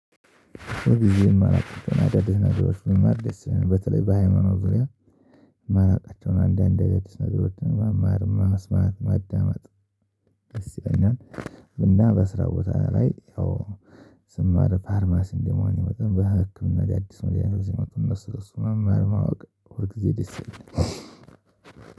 በተለይ በሃይማኖት ዙሪያ የማናውቃቸውን አንዳንድ አዲስ ነገሮችን ማማር ማስማት መዳመጥ እና በስራ ቦታ ላይ ያው ስማር ፋርማሲን እንደመሆኔ መጠን በህክምና አዲስ መድኃኒቶች ሲመጡ እነሱ እነሱን መማር ማወቅ ሁል ጊዜ ደስ ይለኛል።